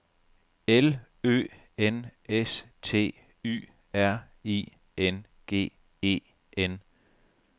L Ø N S T Y R I N G E N